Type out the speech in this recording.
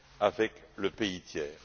avec le pays tiers.